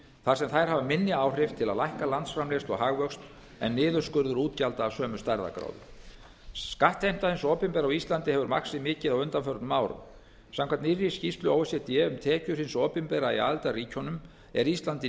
þar sem þær hafa minni áhrif til að lækka landsframleiðslu og hagvöxt en niðurskurður útgjalda af sömu stærðargráðu skattheimta hins opinbera á íslandi hefur vaxið mikið á undanförnum árum samkvæmt nýrri skýrslu o e c d um tekjur hins opinbera í aðildarríkjunum er ísland í